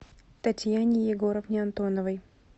татьяне егоровне антоновой